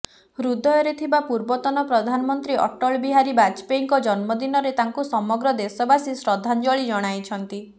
ହୃଦୟରେ ଥିବା ପୂର୍ବତନ ପ୍ରଧାନମନ୍ତ୍ରୀ ଅଟଳବିହାରୀ ବାଜପେୟୀଙ୍କ ଜନ୍ମଦିନରେ ତାଙ୍କୁ ସମଗ୍ର ଦେଶବାସୀ ଶ୍ରଦ୍ଧାଞ୍ଜଳୀ ଜଣାଇଛନ୍ତି